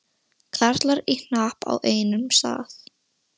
Karlar í hnapp á einum stað.